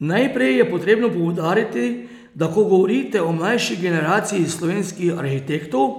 Najprej je potrebno poudariti, da ko govorite o mlajši generaciji slovenskih arhitektov,